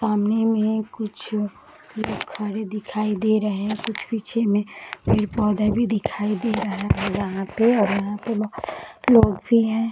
सामने में कुछ लोग खड़े दिखाई दे रहे हैं कुछ पीछे में पेड़ पौधे भी दिखाई दे रहे हैं और वहाँ पे और यहाँ पे लोग भी हैं ।